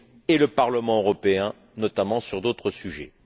et le Parlement européen, notamment sur d'autres sujets.